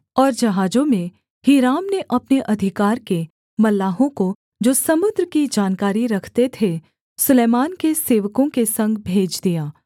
और जहाजों में हीराम ने अपने अधिकार के मल्लाहों को जो समुद्र की जानकारी रखते थे सुलैमान के सेवकों के संग भेज दिया